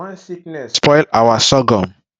one sickness spoil our sorghum